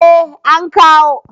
eh an kawo